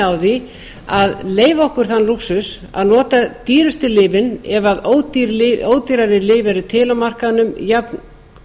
á því að leyfa okkur þann lúxus að nota dýrustu lyfin ef ódýrari lyf eru til á markaðnum jafn